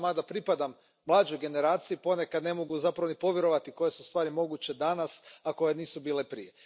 Ja, mada pripadam mlađoj generaciji, ponekad zapravo ne mogu povjerovati koje su stvari moguće danas, a koje nisu bile prije.